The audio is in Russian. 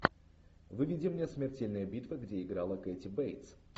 выведи мне смертельная битва где играла кэти бейтс